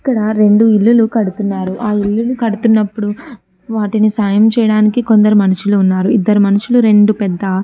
ఇక్కడ రెండు ఇల్లులు కడుతున్నారు. ఆ ఇల్లును కడుతున్నప్పుడు వాటిని సాయం చేయడానికి కొందరు మనుషులు ఉన్నారు. ఇద్దరు మనుషులు రెండు పెద్ద --